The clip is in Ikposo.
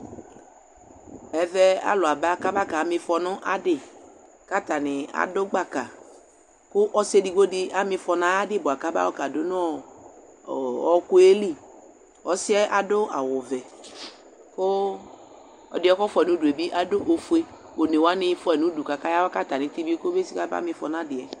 ɛvɛ alò aba kaba ka ma ifɔ no adi k'atani adu gbaka kò ɔsi edigbo di ama ifɔ n'ayi adi bua ka ba yɔ ka du no ɔku yɛ li ɔsi yɛ adu awu vɛ kò ɛdiɛ k'ɔfua yi n'udu yɛ bi adu ofue one wani fua yi n'udu k'aka ya wa k'atami iti bi kɔ be si ka ba ma ifɔ n'adi yɛ.